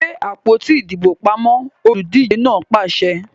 Gbe àpótí ìdìbò pamọ! Olùdíje náà pàṣẹ!